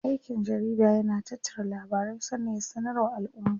Me aikin jarida yana tattara labarai sannan ya sanar wa alʼumma.